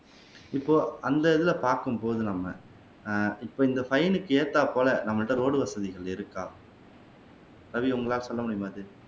இப்போ அந்த இதுல பாக்கும் போது நம்ம ஆஹ் இப்ப இந்த ஃபைன்க்கு ஏத்தாபோல நம்மள்ட்ட ரோடு வசதிகள் இருக்கா ரவி உங்களால சொல்ல முடியுமா இதை